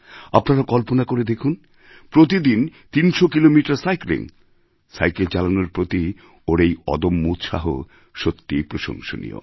আপনারা কল্পনা করে দেখুন প্রত্যেকদিন ৩০০ কিলোমিটার সাইক্লিং সাইকেল চালানোর প্রতি ওর এই অদম্য উৎসাহ সত্যিই প্রশংসনীয়